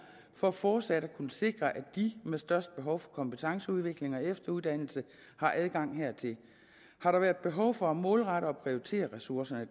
for fortsat at kunne sikre at de med størst behov for kompetenceudvikling og efteruddannelse har adgang hertil har der været behov for at målrette og prioritere ressourcerne